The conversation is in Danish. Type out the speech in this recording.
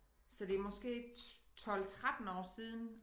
Så det måske 12 13 år siden